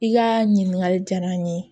I ka ɲininkali diyara n ye